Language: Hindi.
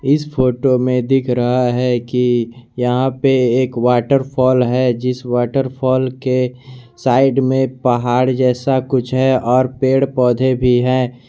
इस फोटो में दिख रहा है कि यहां पे एक वॉटरफॉल है जिस वॉटरफॉल के साइड में पहाड़ जैसा कुछ है और पेड़ पौधे भी हैं।